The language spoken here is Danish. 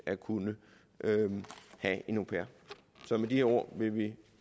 at kunne have en au pair så med de ord vil vi